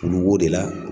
Olu b'o de la